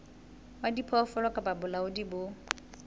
wa diphoofolo kapa bolaodi bo